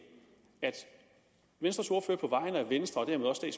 venstres ordfører på vegne af venstre